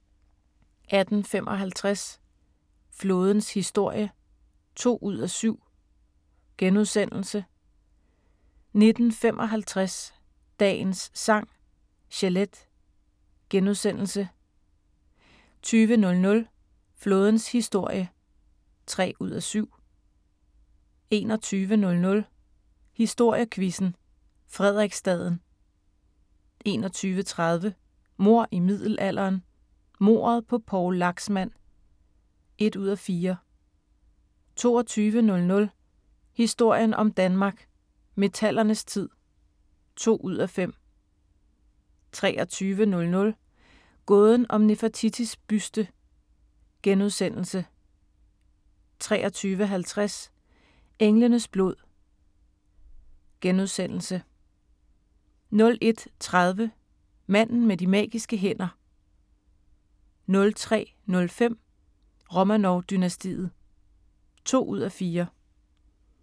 18:55: Flådens historie (2:7)* 19:55: Dagens Sang: Chelete * 20:00: Flådens historie (3:7) 21:00: Historiequizzen: Frederiksstaden 21:30: Mord i middelalderen – Mordet på Poul Laxmand (1:4) 22:00: Historien om Danmark: Metallernes tid (2:5) 23:00: Gåden om Nefertitis buste * 23:50: Englenes blod * 01:30: Manden med de magiske hænder 03:05: Romanov-dynastiet (2:4)